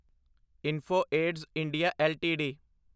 info Edge India LTD